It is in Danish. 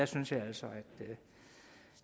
synes jeg altså